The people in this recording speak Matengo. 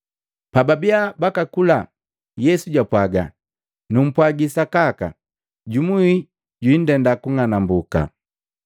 Pababia bakakula, Yesu japwaaga, “Numpwagi sakaka jumu wi jwiindenda kung'anambuka.”